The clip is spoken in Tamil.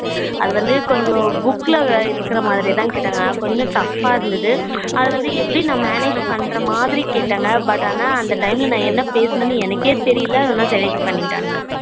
அது வந்து கொஞ்சம் book இருக்குற மாதிரி தான் கேட்டாங்க கொஞ்சம் tough ஆ இருந்தது அத வந்து எப்படி நா manage பண்ணுற மாதிரி கேட்டாங்க but ஆனா அந்த time ல நான் என்ன பேசுனனே எனக்கே தெரியல ஆனா select பன்னிடாங்க